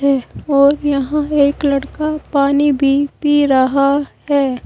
और यहां एक लड़का पानी भी पी रहा है।